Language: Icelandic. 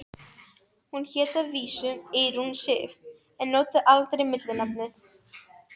Hún hét að vísu Eyrún Sif en notaði aldrei millinafnið.